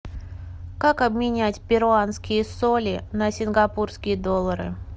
как обменять перуанские соли на сингапурские доллары